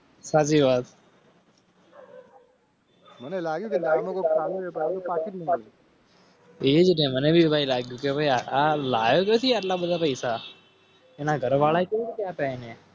સાચી વાત મને લાગી